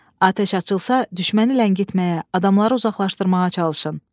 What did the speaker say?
Atəş açılsa düşməni ləngitməyə, adamları uzaqlaşdırmağa çalışın.